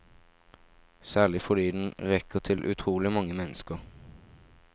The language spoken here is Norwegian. Særlig fordi den rekker til utrolig mange mennesker.